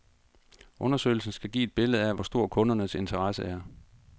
Undersøgelsen skal give et billede af, hvor stor kundernes interesse er.